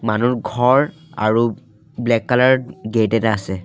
মানুহৰ ঘৰ আৰু ব্লেক কালাৰৰ গেট এটা আছে।